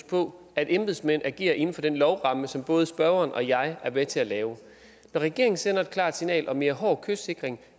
på at embedsmændene agerer inden for den lovramme som både spørgeren og jeg er med til at lave når regeringen sender et klart signal om mere hård kystsikring